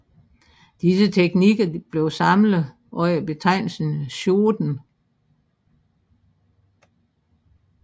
Disse teknikker blev samlet under betegnelsen shōden